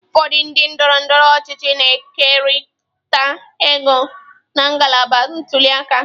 Ụfọdụ ndị ndọrọ ndọrọ ọchịchị na-ekerịta ego na ngalaba ntuli aka.